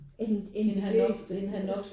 End end de fleste